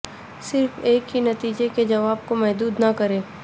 صرف ایک ہی نتیجہ کے جواب کو محدود نہ کریں